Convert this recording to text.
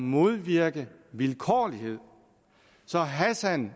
modvirke vilkårlighed så hassan